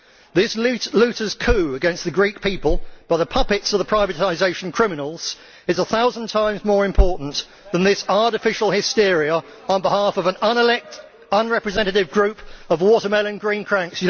This looters' coup against the Greek people by the puppets of the privatisation criminals is a thousand times more important than this artificial hysteria on behalf of an unelected, unrepresentative group of watermelon green cranks.